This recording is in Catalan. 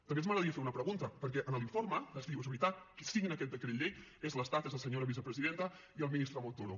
també m’agradaria fer una pregunta perquè a l’informe es diu és veritat qui signa aquest decret llei és l’estat és la senyora vicepresidenta i el ministre montoro